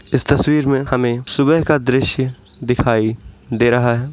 इस तस्वीर में हमें सुबह का दृश्य दिखाई दे रहा है।